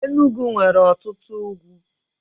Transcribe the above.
Enugwu nwere otutu ugwu.